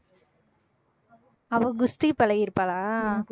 அவ குஸ்தி பழகிருப்பாளா